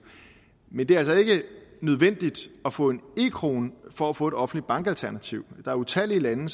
men det er altså ikke nødvendigt at få en e krone for at få et offentligt bankalternativ der er utallige lande